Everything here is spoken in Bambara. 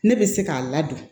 Ne bɛ se k'a ladon